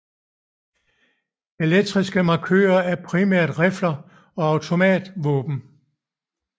Elektriske markører er primært rifler og automatvåben